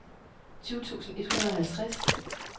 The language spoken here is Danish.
tyve tusind et hundrede og halvtreds